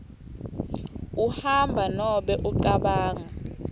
uhamba nobe ucabanga